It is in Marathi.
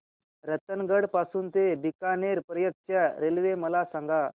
रतनगड पासून ते बीकानेर पर्यंत च्या रेल्वे मला सांगा